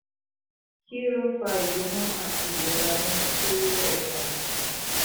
kí ló ń fa igbona àti ìrora nínú koro epon òsì?